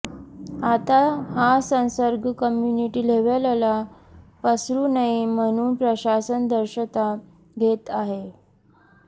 आता हा संसर्ग कम्युनिटी लेव्हलला पसरू नये म्हणून प्रशासन दक्षता घेत आहे